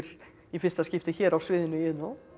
í fyrsta skipti hér á sviðinu í Iðnó